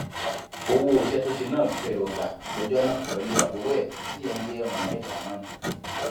owó iṣẹ tó ṣe náà ló fẹẹ lọọ gbà lọjọ náà pẹlú àbúrò ẹ tíyẹn ń jẹ mohammed ramón